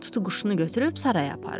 Tutuquşunu götürüb saraya aparır.